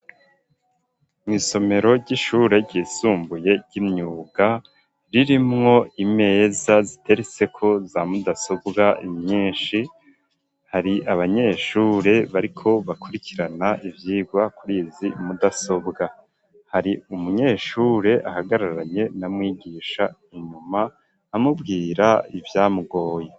Mw'isomero ry'ishure ryisumbuye ry'imyuga ririmwo imeza ziteretseko za mudasobwa nyishi hari abanyeshure bariko bakurikirana ivyirwa kurizi mudasobwa hari umunyeshure ahagararanye na mwigisha inyuma amubwira ivyamugoye.